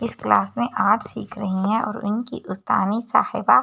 इस क्लास में आर्ट्स सीख रही हैं और इनकी उस्तानी साहिबा--